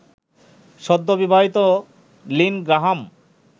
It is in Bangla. সদ্যবিবাহিত লিন গ্রাহাম